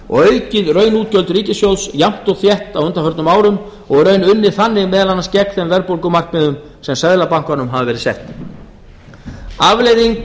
og aukið raunútgjöld ríkissjóðs jafnt og þétt á undanförnum árum og í raun unnið þannig meðal annars gegn þeim verðbólgumarkmiðum sem seðlabankanum hafa verið sett afleiðing